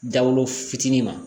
Dawulo fitinin ma